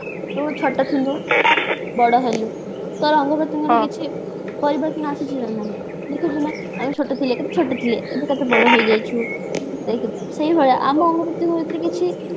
ତୁ ଛୋଟ ଥିଲୁ ବଡ ହେଲୁ ତୋର ଅଙ୍ଗ ପ୍ରତ୍ୟଙ୍ଗରେ କିଛି ପରିବର୍ତ୍ତନ ଆସିଛି କି ନାହିଁ ଦେଖିଲୁ ନା ଆମେ ଛୋଟ ଥିଲେ କେତେ ଛୋଟ ଥିଲେ ଏବେ କେତେ ବଡ ହେଇ ଯାଇଛୁ ସେଇ ଭଳିଆ ଆମ ଅଙ୍ଗ ପ୍ରତ୍ୟଙ୍ଗ ଭିତରେ କିଛି